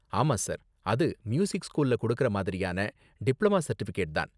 ஆமா சார், அது மியூசிக் ஸ்கூல்ல கொடுக்கற மாதிரியான டிப்ளமா சர்டிஃபிகேட் தான்.